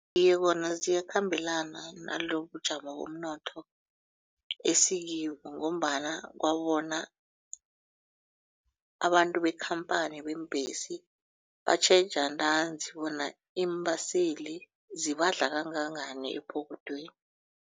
Iye kona ziyakhambelana nalobubujamo bomnotho esikibo ngombana kwabona abantu bekhamphani beembhesi batjheja ntanzi bona iimbaseli zibadla kangangani ephokothweni.